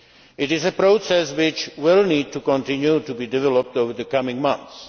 a role. It is a process which will need to continue to be developed over the coming